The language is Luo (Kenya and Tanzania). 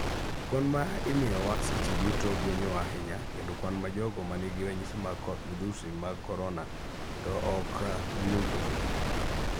Kwan ma imiyowa seche duto gwenyowa ahinya kendo kwan ma jogo manigi ranyisi mag midhusi mag koronato ok giwinj ka gi tuo.